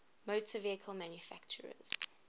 motor vehicle manufacturers